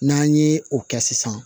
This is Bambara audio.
N'an ye o kɛ sisan